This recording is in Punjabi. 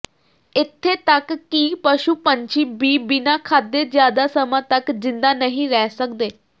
ਇੱਥੇ ਤੱਕ ਕਿ ਪਸ਼ੁ ਪੰਛੀ ਬੀ ਬਿਨਾਂ ਖਾਧੇ ਜਿਆਦਾ ਸਮਾਂ ਤੱਕ ਜਿੰਦਾ ਨਹੀਂ ਰਹਿ ਸੱਕਦੇ